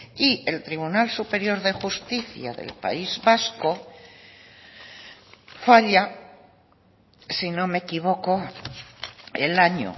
y el tribunal superior de justicia del país vasco falla si no me equivoco el año